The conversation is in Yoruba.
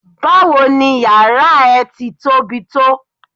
Báwo ni yàrá ẹ ti tóbi tó?